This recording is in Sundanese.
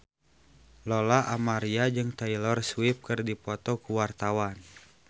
Lola Amaria jeung Taylor Swift keur dipoto ku wartawan